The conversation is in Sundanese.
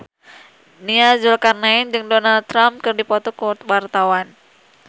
Nia Zulkarnaen jeung Donald Trump keur dipoto ku wartawan